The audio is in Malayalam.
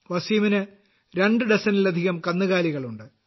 വസീമിന് രണ്ട് ഡസനിലധികം കന്നുകാലികളുണ്ട്